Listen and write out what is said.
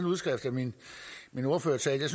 udskrift af min ordførertale